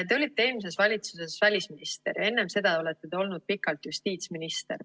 Te olite eelmises valitsuses välisminister, enne seda olete olnud pikalt justiitsminister.